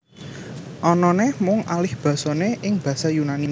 Anané mung alihbasané ing basa Yunani